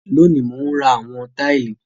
Lónìí, mò ń ra àwọn táìlì